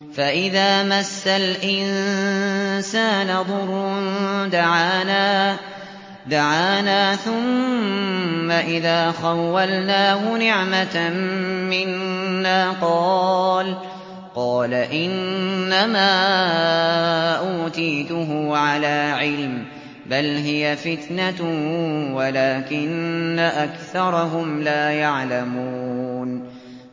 فَإِذَا مَسَّ الْإِنسَانَ ضُرٌّ دَعَانَا ثُمَّ إِذَا خَوَّلْنَاهُ نِعْمَةً مِّنَّا قَالَ إِنَّمَا أُوتِيتُهُ عَلَىٰ عِلْمٍ ۚ بَلْ هِيَ فِتْنَةٌ وَلَٰكِنَّ أَكْثَرَهُمْ لَا يَعْلَمُونَ